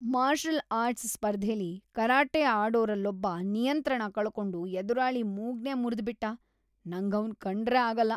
Marshal arts ಸ್ಪರ್ಧೆಲಿ karate ಆಡೋರಲ್ಲೊಬ್ಬ ನಿಯಂತ್ರಣ ಕಳ್ಕೊಂಡು ಎದುರಾಳಿ ಮೂಗ್ನೇ ಮುರ್ದ್‌ಬಿಟ್ಟ, ನಂಗವ್ನ್ ಕಂಡ್ರೇ ಆಗಲ್ಲ.